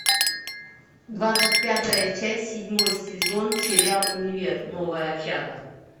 двадцать пятая часть седьмой сезон сериал универ новая общага